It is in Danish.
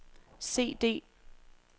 CD